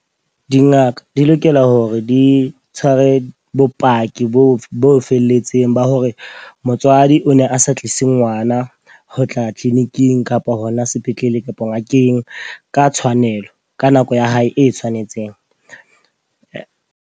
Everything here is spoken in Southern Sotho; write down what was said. Dingaka di lokela hore di tshware bopaki boo bo felletseng ba hore motswadi o ne a sa tlise ngwana ho tla clinic-ing kapa hona sepetlele kapa ngakeng ka tshwanelo. Ka nako ya hae e tshwanetseng.